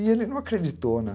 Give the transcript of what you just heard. E ele não acreditou, né?